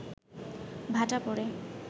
ভাটা পড়ে